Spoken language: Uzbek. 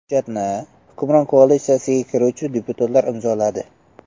Hujjatni hukmron koalitsiyaga kiruvchi deputatlar imzoladi.